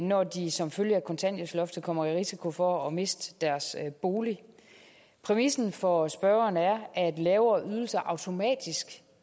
når de som følge af kontanthjælpsloftet kommer i risiko for at miste deres bolig præmissen for spørgeren er at lavere ydelser automatisk